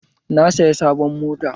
Na saya sabon mota